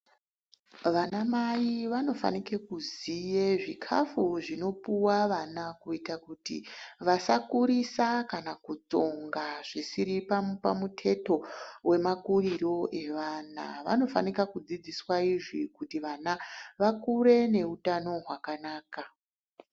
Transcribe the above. Vana mai vanofanike kuziye zvikafu zvinopuwe ana kuita kuti vasakurisa kana kutsonga zvisiri pamuteto wemakuriro evana. Vanofanika kudzidziswa izvi kuite kuti vana vakure neutano hwakanaka.